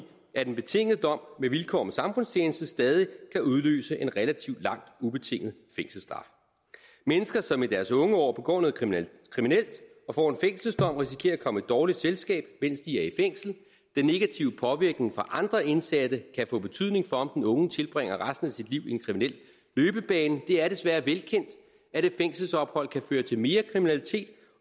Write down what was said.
at en betinget dom med vilkår om samfundstjeneste stadig kan udløse en relativt lang ubetinget fængselsstraf mennesker som i deres unge år begår noget kriminelt og får en fængselsdom risikerer at komme i dårligt selskab mens de er i fængsel den negative påvirkning fra andre indsatte kan få betydning for om den unge tilbringer resten af sit liv i en kriminel løbebane det er desværre velkendt at et fængselsophold kan føre til mere kriminalitet